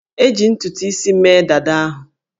E ji ntutu isi mee dada ahụ